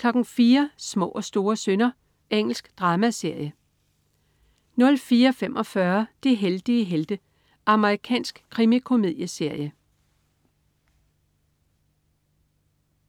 04.00 Små og store synder. Engelsk dramaserie 04.45 De heldige helte. Amerikansk krimikomedieserie